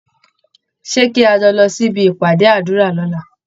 Ṣé kí a jọ lọ sí ibi ìpàdé àdúrà lọ́la?